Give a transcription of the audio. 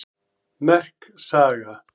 Merk saga